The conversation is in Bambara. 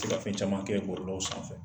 To ka fɛn caman kɛ bɔlɔlɔw sanfɛ.